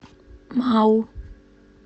мау